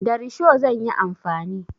Da risho zan yi amfani.